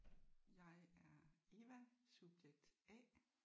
Jeg er Eva subjekt A